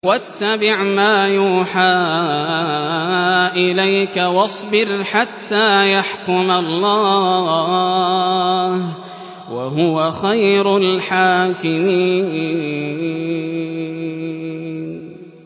وَاتَّبِعْ مَا يُوحَىٰ إِلَيْكَ وَاصْبِرْ حَتَّىٰ يَحْكُمَ اللَّهُ ۚ وَهُوَ خَيْرُ الْحَاكِمِينَ